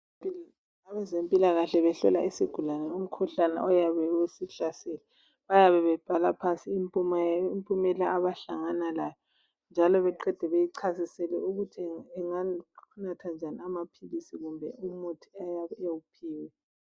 Abezempilakahle bahlola isigulane umkhuhlane oyabe usihlasele. Bayabe bebhala phansi impumela abahlangana layo, njalo beqede, beyichasisele ukuthi ingani , inganatha njani amaphilisi, kumbe imithi eyabe ewuphiwe.